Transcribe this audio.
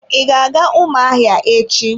I ga-aga ụmụahịa echi?